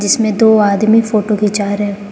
इसमें दो आदमी फोटो घिन्चा रहे--